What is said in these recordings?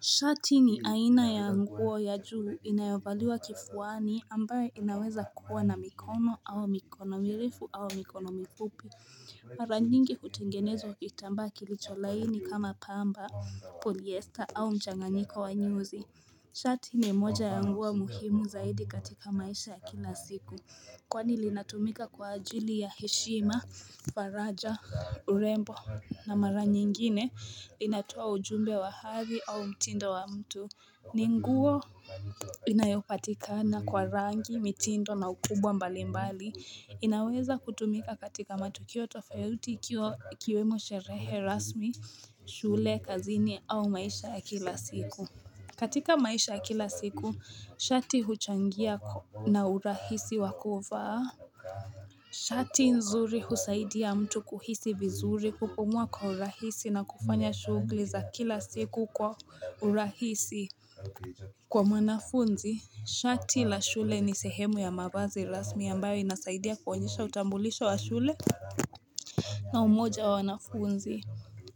Shati ni aina ya nguo ya juu inayovaliwa kifuani ambayo inawezakuwa na mikono au mikono mirefu au mikono mifupi Maranyingi utengenezwa kitambaa kilicho laini kama pamba, polyester au mchanganiko wa nyuzi Shati ni moja ya nguo muhimu zaidi katika maisha ya kila siku Kwani linatumika kwa ajili ya heshima, faraja, urembo na mara nyingine linatoa ujumbe wa hathi au mtindo wa mtu. Ni nguo inayopatikana kwa rangi, mitindo na ukubwa mbali mbali. Inaweza kutumika katika matukio tofauti ikiwemo sherehe rasmi, shule, kazini au maisha ya kila siku. Katika maisha ya kila siku, shati huchangia na urahisi wakuvaa. Shati nzuri husaidia mtu kuhisi vizuri kupumua kwa urahisi na kufanya shughuli za kila siku kwa urahisi. Kwa manafunzi, shati la shule ni sehemu ya mavazi rasmi yambayo inasaidia kuonyesha utambulisho wa shule. Na umoja wa wanafunzi.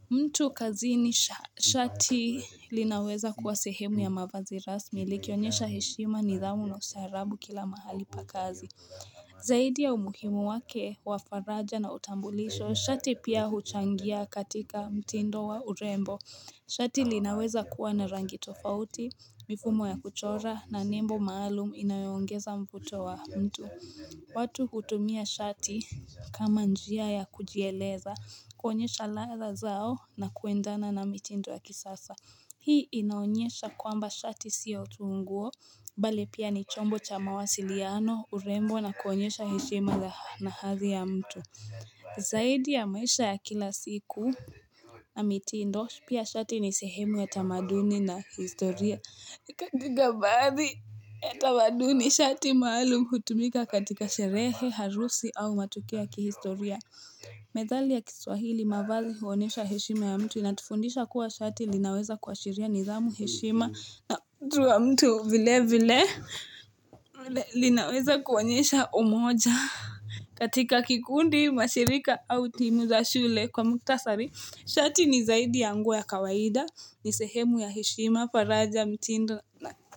Mtu kazini shati linaweza kuwa sehemu ya mavazi rasmi likionyesha heshima nidhamu na ustaarabu kila mahali pakazi. Zaidi ya umuhimu wake wafaraja na utambulisho, shati pia huchangia katika mtindo wa urembo. Shati linaweza kuwa na rangi tofauti, mifumo ya kuchora na nembo maalum inayoongeza mfuto wa mtu. Watu hutumia shati kama njia ya kujieleza kuonyesha ladha zao na kuendana na mitindo ya kisasa Hii inaonyesha kwamba shati siyo tu nguo Bali pia ni chombo cha mawasiliano urembo na kuonyesha heshema na hathi ya mtu Zaidi ya maisha ya kila siku na mitindo pia shati ni sehemu ya tamaduni na historia na baadhi tamaduni shati maalum hutumika katika sherehe, harusi au matukio ya kihistoria. Methali ya kiswahili mavazi huonyesha heshima ya mtu inatufundisha kuwa shati linaweza kuashiria nidhamu heshima na mtu wa mtu vile vile linaweza kuonyesha omoja. Katika kikundi mashirika au timu za shule kwa mukhtasari Shati ni zaidi ya nguo ya kawaida ni sehemu ya heshima faraja mtindo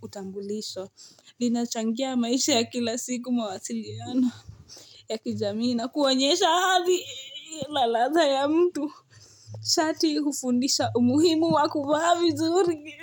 utambulisho Linachangia maisha ya kila siku mawasiliano ya kijamii na kuonyesha hathi na ladha ya mtu Shati hufundisha umuhimu wakuvaa vizuri.